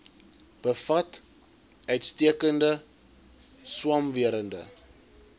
bevat uitstekende swamwerende